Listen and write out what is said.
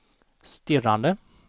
stirrade